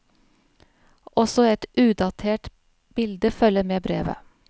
Også et udatert bilde følger med brevet.